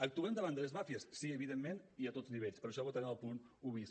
actuem davant de les màfies sí evidentment i a tots nivells per això votarem el punt un bis